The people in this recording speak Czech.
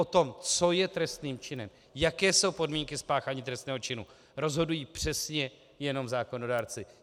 O tom, co je trestným činem, jaké jsou podmínky spáchání trestného činu, rozhodují přesně jenom zákonodárci.